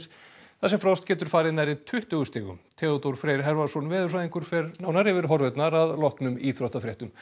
þar sem frost getur farið nærri tuttugu stigum Theodór Freyr veðurfræðingur fer nánar yfir horfurnar að loknum íþróttafréttum